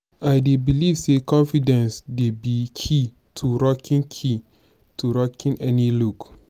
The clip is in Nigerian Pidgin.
i dey believe say confidence dey be key to rocking key to rocking any look.